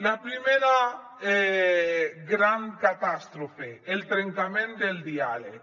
la primera gran catàstrofe el trencament del diàleg